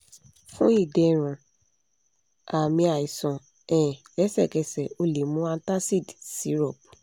fun iderun aami aisan um lẹsẹkẹsẹ o le mu antacid syrup